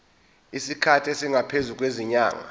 isikhathi esingaphezulu kwezinyanga